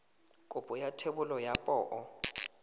kopo ya thebolo ya poo